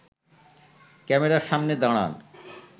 ক্যামেরার সামনে দাঁড়ান